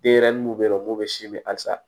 Denyɛrɛnin mun be yen nɔ n'o be si min hali sa